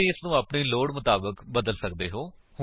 ਤੁਸੀ ਇਸਨੂੰ ਆਪਣੀ ਲੋੜ ਮੁਤਾਬਕ ਬਦਲ ਸੱਕਦੇ ਹੋ